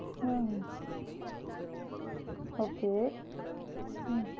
ஆஹ் okay உம்